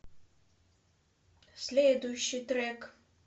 следующий трек